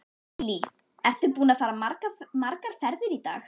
Lillý: Ertu búinn að fara margar ferðir í dag?